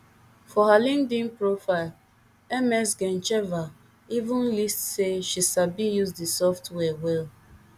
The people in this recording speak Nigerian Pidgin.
for her linkedin profile ms gencheva even list say she sabi use di software well